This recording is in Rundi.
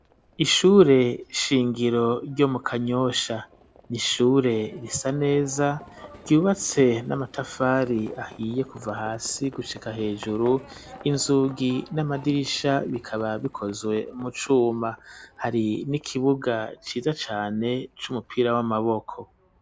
Ishure shingiro ryo mu kanyosha n’ishure risa neza ryubatse n'amatafari ahiye kuva hasi gushika hejuru inzugi n'amadirisha bikaba bikozwe mu cuma hari n'ikibuga ciza cane c'umupira w'amaboko.